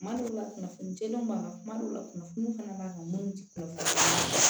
Kuma dɔw la kunnafoni jɛlen b'a kan kuma dɔw la kunnafoni fana b'a kan munnu ti dɔn